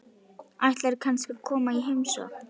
Ætlarðu kannski að koma í heimsókn?